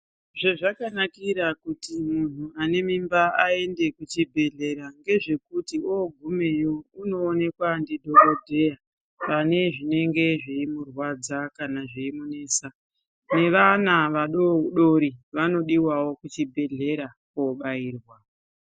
Zvezvakanakira kuti muntu anemimba aende kuchibhedhlera ngezvekuti ogumeyi unoonekwa ndidhokodheya pane zvinenge zveimurwadza kana zveimunesa nevana vadodori vanodiwawo kuchibhedhlera kobairwa.